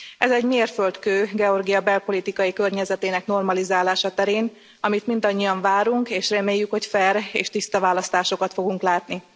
Ez egy mérföldkő Georgia belpolitikai környezetének normalizálása terén, amit mindannyian várunk, és reméljük, hogy fair és tiszta választásokat fogunk látni.